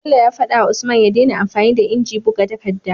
Bello ya fada wa usman ya dena amfani da inji buga takadda